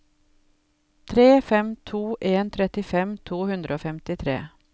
tre fem to en trettifem to hundre og femtitre